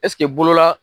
Ɛseke bolola